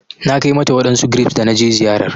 Na Kai mata wadansu grapes da na je ziyarar